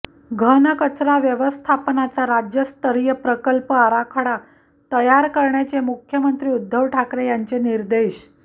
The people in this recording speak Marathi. घनकचरा व्यवस्थापनाचा राज्यस्तरीय प्रकल्प आराखडा तयार करण्याचे मुख्यमंत्री उद्धव ठाकरे यांचे निर्देश